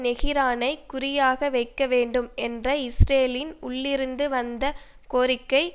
தெகிரானை குறியாக வைக்க வேண்டும் என்ற இஸ்ரேலின் உள்ளிருந்து வந்த கோரிக்கை